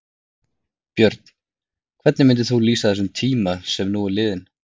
Björn: Hvernig myndir þú lýsa þessum tíma sem nú er liðinn?